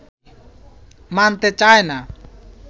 মানতে চায় না